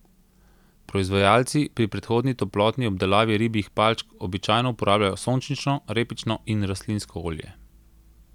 Proizvajalci pri predhodni toplotni obdelavi ribjih palčk običajno uporabljajo sončnično, repično in rastlinsko olje.